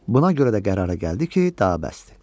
Buna görə də qərara gəldi ki, daha bəsdir.